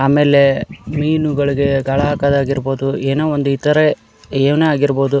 ಆಮೇಲೆ ಮೀನುಗಳಿಗೆ ಗಾಳ ಹಾಕದ್ ಆಗಿರಬಹುದು ಏನೋ ಒಂದು ಇತರೆ ಇವನೆ ಆಗಿರಬಹುದು --